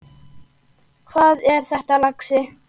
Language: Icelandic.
Hvað er það, lagsi?